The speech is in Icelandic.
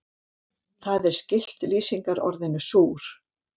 Það er skylt lýsingarorðinu súr.